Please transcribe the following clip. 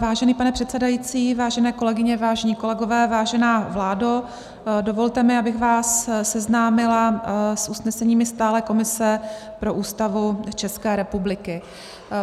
Vážený pane předsedající, vážené kolegyně, vážení kolegové, vážená vládo, dovolte mi, abych vás seznámila s usneseními stálé komise pro Ústavu České republiky.